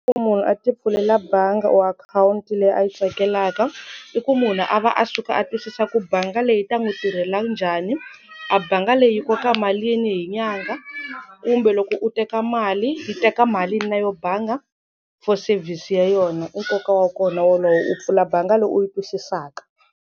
Munhu a ti pfulela bangi or akhawunti leyi a yi tsakelaka i ku munhu a va a suka a twisisa ku banga leyi ta n'wi tirhela njhani a banga leyi yi koka malini hi nyangha kumbe loko u teka mali yi teka malini na yo banga for service ya yona i nkoka wa kona wolowo u pfula banga leyi u yi twisisaka.